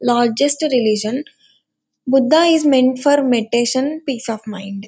Largest religion Buddha is meant for meditation peace of mind.